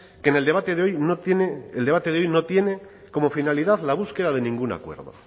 que en el debate de hoy no tiene el debate de hoy no tiene como finalidad la búsqueda de ningún acuerdo